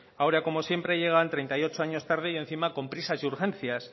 ahora como siempre llegan treinta y ocho años tarde y encima con prisas y urgencias